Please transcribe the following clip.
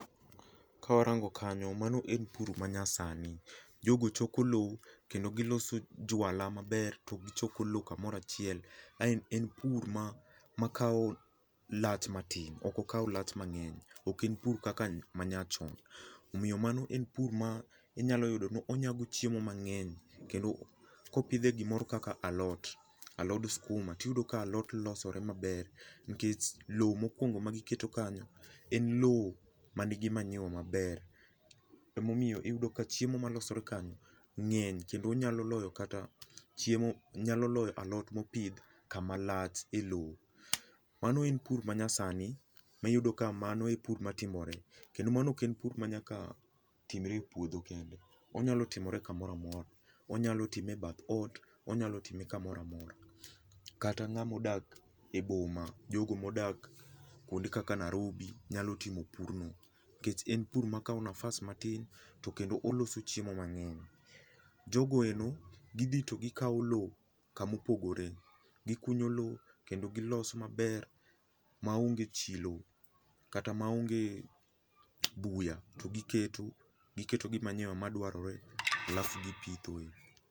Kawarango kanyo, mano en pur manyasani, jogo choko lowo kendo giloso juala maber, to gichoko lowo kamoro achiel. En pur makawo lach matin ok okaw lach mang'eny ok en pur kaka manyaachon. Omiyo mano en pur ma onyago yudo ni onyago chiemo mang'eny, kendo kopidhe gimoro kaka alot, alod sikuma to iyudo ka alot losore maber nikech lowo ,mokuongo magiketo kanyo, en lowo man gi manyiwa maber. Emomiyo iyudo ka chiemo ma losore kanyo ng'eny kendo nyalo loyo kata alot mopidh kama lach elowo. Mano en pur manyasani miyudo ka mano e pur matimore. Kendo mano ok en pur manyaka timore e puodho kende, onyalo timore kamoro amora. Wanyalo time ebath ot, wanyalo time kamoro amora. Kata ng'ama odak e boma, jogo modak kuonde kaka Nairobi nyalo timo pur no, kech en pur makawo nafas matin to kendo oloso chiemo mang'eny. Jogo endo gidhi to gikawo lowo kama opogore, gikunyo lowo, kendo giloso maber maonge chilo kata maonge buya to giketo giketo gi manyiwa madwarore alafu gipithoe.